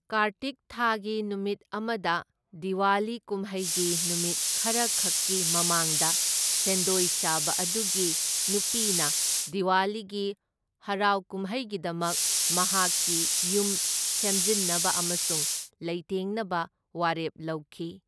ꯀꯥꯔꯇꯤꯛ ꯊꯥꯒꯤ ꯅꯨꯃꯤꯠ ꯑꯃꯗ, ꯗꯤꯋꯥꯂꯤ ꯀꯨꯝꯍꯩꯒꯤ ꯅꯨꯃꯤꯠ ꯈꯔꯈꯛꯀꯤ ꯃꯃꯥꯡꯗ ꯁꯦꯟꯗꯣꯏ ꯆꯥꯕ ꯑꯗꯨꯒꯤ ꯅꯨꯄꯤꯅ ꯗꯤꯋꯥꯂꯤꯒꯤ ꯍꯔꯥꯎ ꯀꯨꯝꯍꯩꯒꯤꯗꯃꯛ ꯃꯍꯥꯛꯀꯤ ꯌꯨꯝ ꯁꯦꯝꯖꯤꯟꯅꯕ ꯑꯃꯁꯨꯡ ꯂꯩꯇꯦꯡꯅꯕ ꯋꯥꯔꯦꯞ ꯂꯧꯈꯤ꯫